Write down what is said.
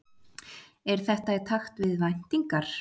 Er þetta í takt við væntingar